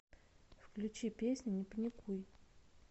включи песня не паникуй